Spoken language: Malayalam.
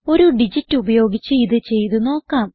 ഒരു ഡിജിറ്റ് ഉപയോഗിച്ച് ഇത് ചെയ്ത് നോക്കാം